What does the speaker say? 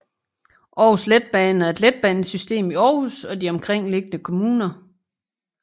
Aarhus Letbane er et letbanesystem i Aarhus og de omkringliggende kommuner